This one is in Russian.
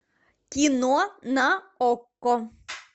кино на окко